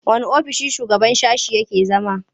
Wanne ofissin shugaban sashe yake zama?